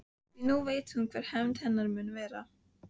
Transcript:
Því nú veit hún hver hefnd hennar mun verða.